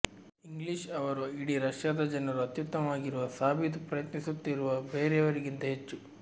English ಅವರು ಇಡೀ ರಷ್ಯಾದ ಜನರು ಅತ್ಯುತ್ತಮವಾಗಿರುವ ಸಾಬೀತು ಪ್ರಯತ್ನಿಸುತ್ತಿರುವ ಬೇರೆಯವರಿಗಿಂತ ಹೆಚ್ಚು